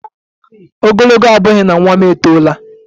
Ogologo abughi na nwa m etola